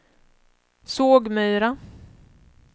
Sågmyra